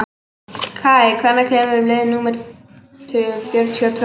Kaj, hvenær kemur leið númer fjörutíu og tvö?